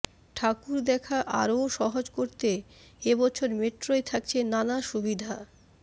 ঠাকুর দেখা আরও সহজ করতে এবছর মেট্রোয় থাকছে নানা সুবিধা